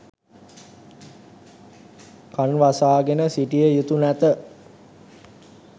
කන් වසා ගෙන සිටිය යුතු නැත